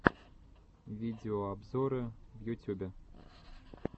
видеообзоры в ютюбе